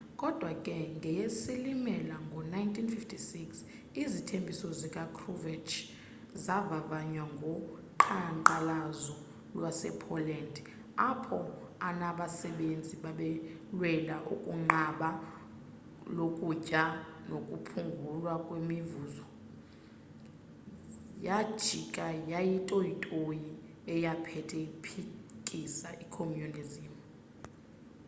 kodwa ke ngeyesilimela ngo-1956 izithembiso zika-kruchev zavavanywa ngo qhanqalazo lwase-poland apho anasebenzi babelwela ukunqaba lokutya nokuphungulwa kwemivuzo yaijika yayitoyitoyi eyaphetha iphikisa i-communism